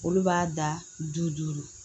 Olu b'a da du duuru